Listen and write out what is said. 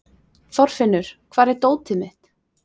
Þorfinnur, hvar er dótið mitt?